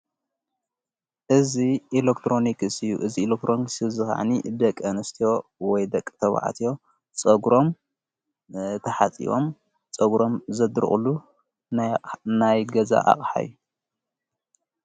እዝ ኢሌክጥሮንክ ሢዩ እዝ ኤሌክትሮን ክስዩ ዝኻዓኒ ደቂ ንስትዮ ወይ ደቕ ተብዕትዮ ጸጕሮም ተሓጺቦም ጸጕሮም ዘድርቑሉ ናይገዛ ኣቕሓይ እዩ።